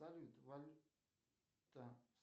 салют валюта